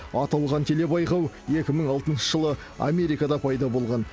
аталған телебайқау екі мың алтыншы жылы америкада пайда болған